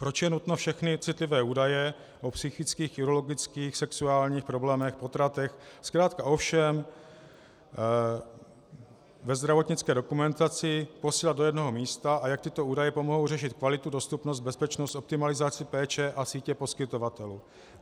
Proč je nutno všechny citlivé údaje o psychických, urologických, sexuálních problémech, potratech, zkrátka o všem ve zdravotnické dokumentaci posílat do jednoho místa a jak tyto údaje pomohou řešit kvalitu, dostupnost, bezpečnost, optimalizaci péče a sítě poskytovatelů?